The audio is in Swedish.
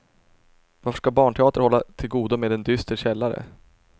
Varför ska barnteater hålla till godo med en dyster källare?